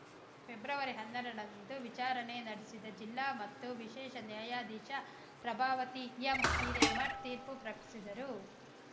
February ಹನ್ನೆರಡರಂದು ವಿಚಾರಣೆ ನಡೆಸಿದ ಜಿಲ್ಲಾ ಮತ್ತು ವಿಶೇಷ ನ್ಯಾಯಾಧೀಶೆ ಪ್ರಭಾವತಿ ಎಂ ಹಿರೇಮಠ್‌ ತೀರ್ಪು ಪ್ರಕಟಿಸಿದರು